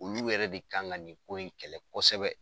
Olu yɛrɛ de kan ka nin ko in kɛlɛ kosɛbɛ.